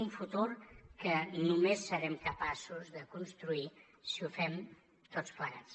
un futur que només serem capaços de construir si ho fem tots plegats